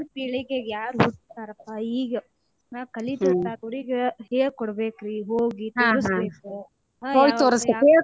ಈಗಿನ ಪೀಳಿಗೆಗ .